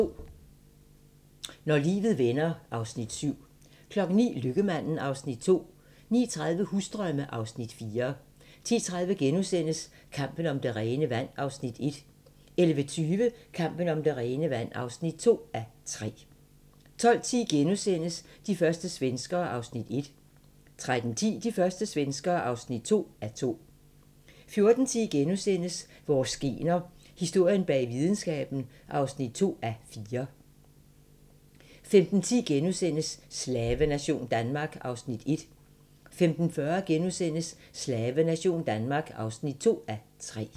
08:30: Når livet vender (Afs. 7) 09:00: Lykkemaden (Afs. 2) 09:30: Husdrømme (Afs. 4) 10:30: Kampen om det rene vand (1:3)* 11:20: Kampen om det rene vand (2:3) 12:10: De første svenskere (1:2)* 13:10: De første svenskere (2:2) 14:10: Vores gener - historien bag videnskaben (2:4)* 15:10: Slavenation Danmark (1:3)* 15:40: Slavenation Danmark (2:3)*